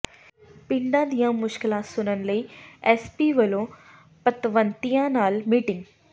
ਪਿੰਡਾਂ ਦੀਆਂ ਮੁਸ਼ਕਲਾਂ ਸੁਣਨ ਲਈ ਐਸ ਪੀ ਵੱਲੋਂ ਪਤਵੰਤਿਆਂ ਨਾਲ ਮੀਟਿੰਗ